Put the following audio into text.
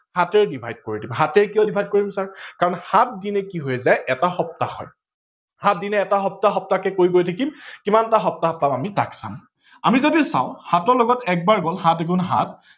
সাতেৰে divide কৰি দিম, সাতেৰে কিয় divide কৰিম কাৰন সাত দিনে কি হৈ যায় এটা সপ্তাহ হয়। সাত দিনে এটা সপ্তাহ সপ্তাহকে কৰি গৈ থাকিম কিমানটা সপ্তাহ পাম আমি তাক চাম, আমি যদি চাও সাতৰ লগত এক বাৰ গল সাত এগুন সাত